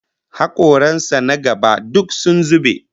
Hakoran sa na gaba duk sun zube